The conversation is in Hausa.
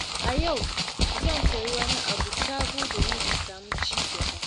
A yau, zan koyi wani abu sabo domin in samu ci gaba.